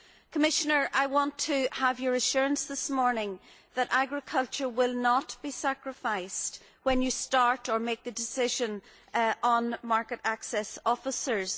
Commissioner, I want to have your assurance this morning that agriculture will not be sacrificed when you start or make the decision on market access officers.